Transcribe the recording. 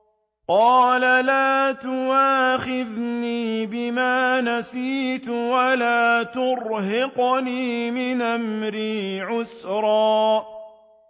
قَالَ لَا تُؤَاخِذْنِي بِمَا نَسِيتُ وَلَا تُرْهِقْنِي مِنْ أَمْرِي عُسْرًا